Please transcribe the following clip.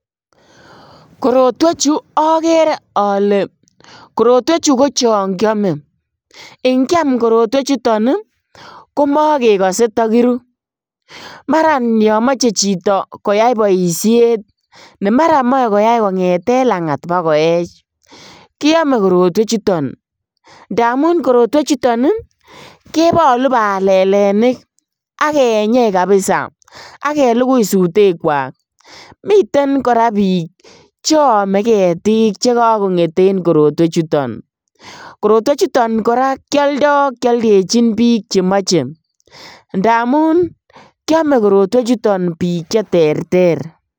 Korotwechu okere ole korotwechu kochon kiome ingiam Korotwechuton ii komokekose tokiru maran tomoche chito koyai boishet nemaran moe koyai kongeten langat bakoech kiome Korotwechuton, ndamun Korotwechuton ii kebolu balelenik ak kenyei kabisa ak kelugui sutekwak, miten koraa bik cheome ketik chekokonget en Korotwechuton, Korotwechuton koraa kioldo kioldejin bik chemoche ndamun kiome Korotwechuton bik cheterter.